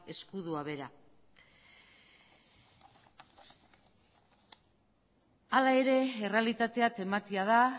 ezkutua bera hala ere errealitatea tematia da